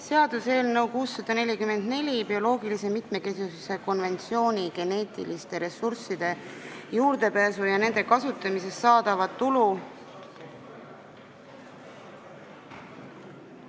Seaduseelnõu 644, bioloogilise mitmekesisuse konventsiooni geneetilistele ressurssidele juurdepääsu ja nende kasutamisest saadava tulu ...